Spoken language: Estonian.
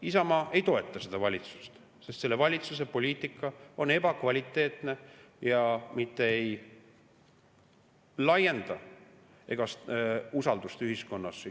Isamaa ei toeta seda valitsust, sest selle valitsuse poliitika on ebakvaliteetne ega laienda usaldust ja kindlustunnet ühiskonnas.